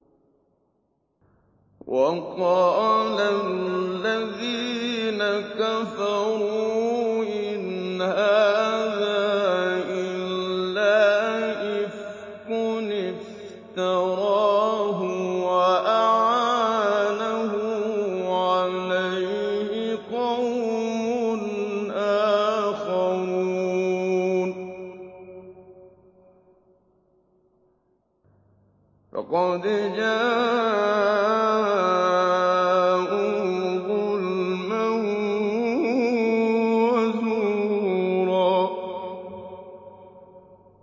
وَقَالَ الَّذِينَ كَفَرُوا إِنْ هَٰذَا إِلَّا إِفْكٌ افْتَرَاهُ وَأَعَانَهُ عَلَيْهِ قَوْمٌ آخَرُونَ ۖ فَقَدْ جَاءُوا ظُلْمًا وَزُورًا